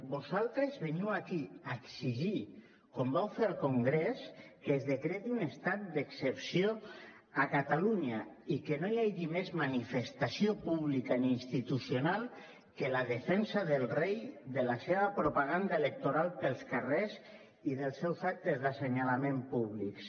vosaltres veniu aquí a exigir com vau fer al congrés que es decreti un estat d’excepció a catalunya i que no hi hagi més manifestació pública ni institucional que la defensa del rei de la seva propaganda electoral pels carres i dels seus actes d’assenyalament públics